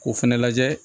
K'o fɛnɛ lajɛ